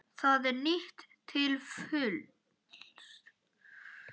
Það er nýtt til fulls.